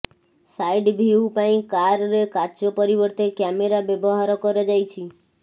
side view ପାଇଁ car ରେ କାଚ ପରିବର୍ତ୍ତେ କ୍ୟାମେରା ବ୍ୟବହାର କରାଯାଇଛି